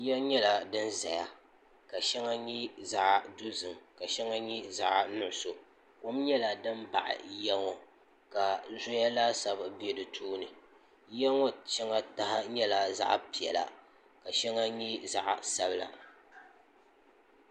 yiya nyɛla din ʒɛya ka shɛŋa nyɛ zaɣ dozim ka shɛŋa nyɛ zaɣ nuɣso kom nyɛla din baɣi yiya ŋɔ ka zɔya laasabu bɛ di tooni yiya ŋɔ shɛŋa taha nyɛla zaɣ piɛla ka shɛŋa nyɛ zaɣ sabila